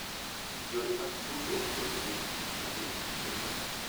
Yore mag tudruok bende nigi tich maduong’ ahinya .